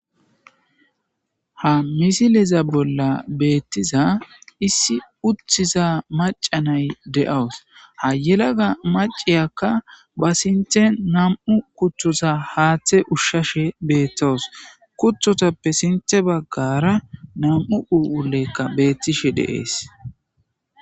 ha misileza bolla beettiza issi uthiza macanay de'awus ha yelaga maciyakka ba sinthe nam'u kuthoza haaththe ushshashe beettowus kuthotappe sinthe baggara nam'u phuuleyikka beettishe de'ees